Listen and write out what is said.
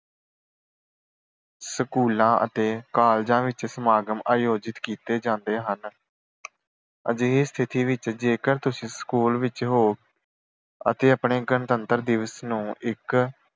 ਸਕੂਲਾਂ ਅਤੇ ਕਾਲਜਾਂ ਵਿੱਚ ਸਮਾਗਮ ਆਯੋਜਿਤ ਕੀਤੇ ਜਾਂਦੇ ਹਨ। ਅਜਿਹੀ ਸਥਿਤੀ ਵਿੱਚ ਜੇਕਰ ਤੁਸੀਂ ਸਕੂਲ ਵਿੱਚ ਹੋ ਅਤੇ ਆਪਣੇ ਗਣਤੰਤਰ ਦਿਵਸ ਨੂੰ ਇੱਕ